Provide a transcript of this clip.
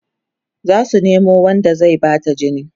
zasu Nemo Wanda zai Bata jini